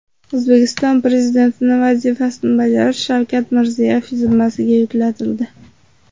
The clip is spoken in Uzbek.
O‘zbekiston Prezidenti vazifasini bajarish Shavkat Mirziyoyev zimmasiga yuklatildi .